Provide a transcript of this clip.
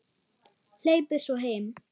Hleypur svo heim.